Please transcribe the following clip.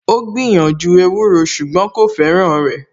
Ó gbìyànjú ewúro ṣùgbọ́n kò fẹ́ràn rẹ̀